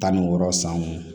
Tan ni wɔɔrɔ san mun